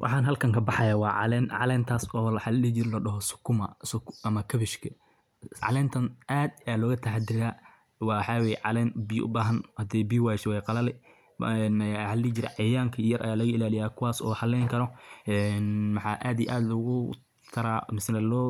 waxaa qeexaya halkan inay maxa la dhihi jiray khudaar mise neh waxaa la dhihi jiray sheega miraha mira ayaa halkaas lagu meeshaas oo la warshadaynayo markaas shayga soo maxa la dihi jiray dhigaayo labiyeynayo laga dhigayo een labiyeynayo mase beh la rabo inay la hagaajiyo halkaas oo aada iyo aada u mahadceliyey ummad waxaan saxayso oo guduudan oo maxaa loo